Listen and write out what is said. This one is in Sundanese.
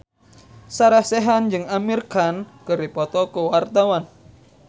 Sarah Sechan jeung Amir Khan keur dipoto ku wartawan